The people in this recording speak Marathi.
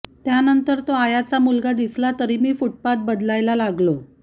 त्यानंतर तो आयाचा मुलगा दिसला तरी मी फूटपाथ बदलायला लागलो